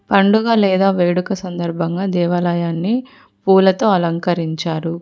పండుగ లేదా వేడుక సందర్బంగ దేవాలయాన్ని పూలతో అలంకరించారు.